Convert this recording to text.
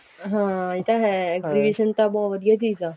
ਹਾਂ ਇਹ ਤਾਂ ਹੈ exhibition ਤਾਂ ਬਹੁਤ ਵਧੀਆ ਚੀਜ਼ ਆ